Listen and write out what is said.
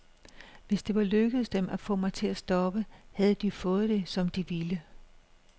Hvis det var lykkedes dem at få mig til at stoppe, havde de jo fået det, som de ville.